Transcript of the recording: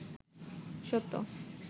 সত্য